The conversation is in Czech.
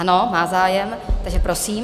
Ano, má zájem, takže prosím.